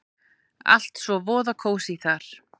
Allt svo voða kósí þar!